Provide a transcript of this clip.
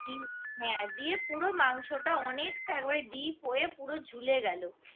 হ্যাঁ দিয়ে পুরো মাংসটা অনেকটাই একেবারে deep হয়ে পুরো ঝুলে গেল